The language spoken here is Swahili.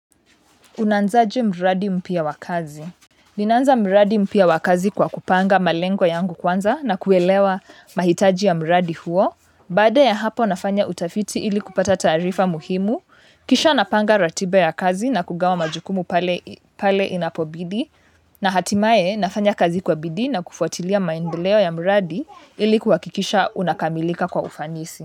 Unaanzaje mradi mpya wa kazi. Ninaanza mradi mpya wa kazi kwa kupanga malengo yangu kwanza na kuelewa mahitaji ya mradi huo. Baada ya hapo nafanya utafiti ili kupata taarifa muhimu. Kisha napanga ratiba ya kazi na kugawa majukumu pale inapobidi. Na hatimaye nafanya kazi kwa bidii na kufuatilia maendeleo ya mradi ili kuhakikisha unakamilika kwa ufanisi.